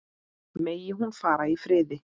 Megi hún fara í friði.